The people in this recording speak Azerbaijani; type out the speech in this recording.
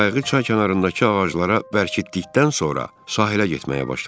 Qayıq çay kənarındakı ağaclara bərkitdikdən sonra sahilə getməyə başladım.